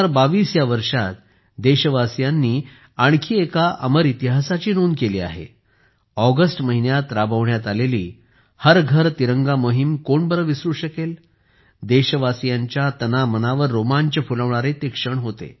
2022 या वर्षात देशवासियांनी आणखी एका अमर इतिहासाची नोंद केली आहे ऑगस्ट महिन्यात राबविण्यात आलेली हर घर तिरंगा मोहिम कोण विसरू शकेल देशवासियांच्या तनामनावर रोमांच फुलवणारे ते क्षण होते